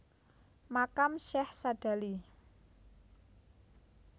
Makam Syekh Sadzali